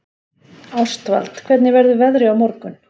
Ástvald, hvernig verður veðrið á morgun?